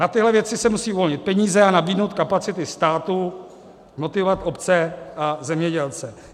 Na tyhle věci se musí uvolnit peníze a nabídnout kapacity státu, motivovat obce a zemědělce.